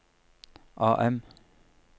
AM